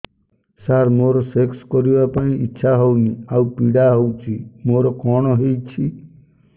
ସାର ମୋର ସେକ୍ସ କରିବା ପାଇଁ ଇଚ୍ଛା ହଉନି ଆଉ ପୀଡା ହଉଚି ମୋର କଣ ହେଇଛି